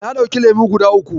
Na ɗauki lemo guda uku.